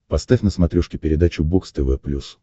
поставь на смотрешке передачу бокс тв плюс